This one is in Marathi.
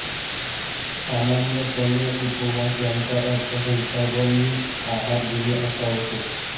सामान्यपणे उपवास याचा अर्थ हलका व मित आहार घेणे असा होतो